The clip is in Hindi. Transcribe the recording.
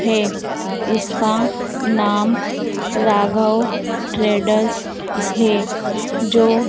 है इसका नाम राघव ट्रेडर्स है जो--